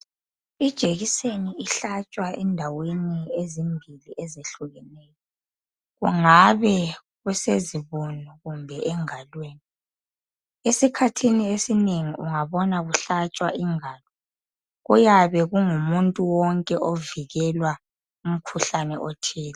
Ijekiseni ihlatshwa endaweni ezimbili ezehlukeneyo. Kungabe kusezibunu kumbe engalweni. Esikhathini esinengi ungabona kuhlatshwa ingalo kuyabe kungumuntu wonke ovikelwa umkhuhlane othile.